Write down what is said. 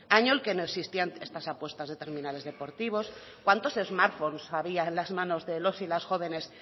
año en el que no existían estas apuestas de terminales deportivos cuántos smartphones había en las manos de los y las jóvenes